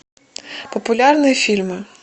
популярные фильмы